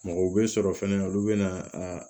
Mɔgɔ bɛ sɔrɔ fɛnɛ olu bɛ na a